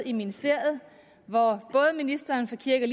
i ministeriet hvor både ministeren for kirke